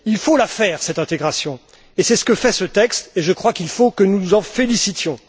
Il faut la faire cette intégration, et c'est ce que fait ce texte, et je crois qu'il faut que nous nous en félicitions.